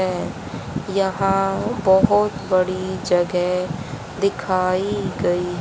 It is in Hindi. है यहां बहुत बड़ी जगह दिखाई गई--